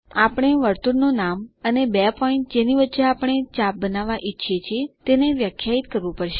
આપણે વર્તુળનું નામ અને બે પોઈન્ટ જેની વચ્ચે આપણે ચાપ બનાવવા ઈચ્છીએ છીએ તે વ્યાખ્યાયિત કરવું પડશે